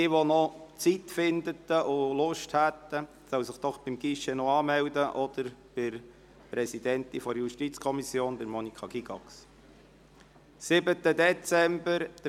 Wer noch Zeit findet und Lust hat, soll sich doch bitte noch beim Guichet oder bei der Präsidentin der JuKo, Monika Gygax, anmelden.